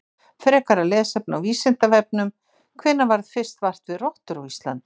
Frekara lesefni á Vísindavefnum: Hvenær varð fyrst vart við rottur á Íslandi?